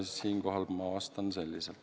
Siinkohal ma vastan selliselt.